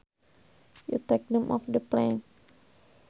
you take them off the plant